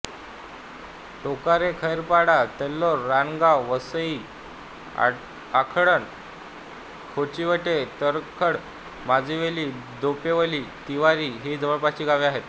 टोकारेखैरपाडा तिल्हेर रानगाव वासळईआखटण खोचिवडे तरखड माजिवली देपिवली तिवरी ही जवळपासची गावे आहेत